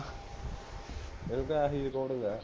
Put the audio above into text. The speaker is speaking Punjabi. ਮੈਨੂੰ ਤਾਂ ਆਹੀ recordings ਹੈ